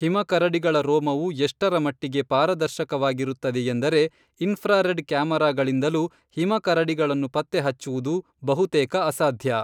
ಹಿಮ ಕರಡಿಗಳ ರೋಮವು ಎಷ್ಟರಮಟ್ಟಿಗೆ ಪಾರದರ್ಶಕವಾಗಿರುತ್ತದೆಯೆಂದರೆ ಇನ್‌ಫ್ರಾರೆಡ್ ಕ್ಯಾಮರಾಗಳಿಂದಲೂ ಹಿಮಕರಡಿಗಳನ್ನು ಪತ್ತೆ ಹಚ್ಚುವುದು ಬಹುತೇಕ ಅಸಾಧ್ಯ